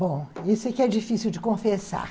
Bom, isso aqui é difícil de confessar.